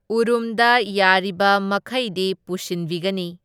ꯎꯔꯨꯝꯗ ꯌꯥꯔꯤꯕ ꯃꯈꯩꯗꯤ ꯄꯨꯁꯤꯟꯕꯤꯒꯅꯤ꯫